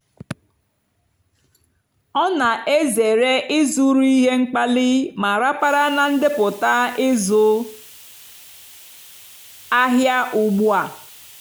ọ́ nà-èzèré ị́zụ́rụ́ íhé mkpàlìì mà ràpárá nà ndépụ́tá ị́zụ́ àhịá ùgbúà.